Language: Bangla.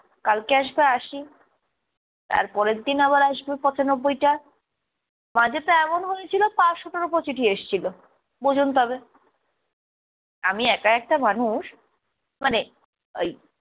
কালকে আসবে আশি, তারপরের দিন আবার আসবে পঁচানব্বইটা। মাঝে তো এমন হয়েছিল পাঁচশোটার ওপরে চিঠি এসছিলো। বুঝুন তবে। আমি একা একটা মানুষ মানে ওই